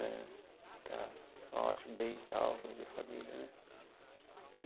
Eh está ótimo, bem, em salvo, ele e a família né.